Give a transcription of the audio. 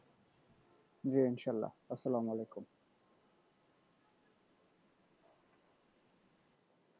জি ইনশাআল্লাহ আসসালাম আলাইকুম